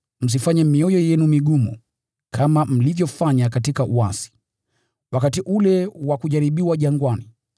msiifanye mioyo yenu migumu, kama mlivyofanya katika uasi, wakati ule wa kujaribiwa jangwani,